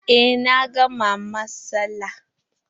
Eh, na gama masan.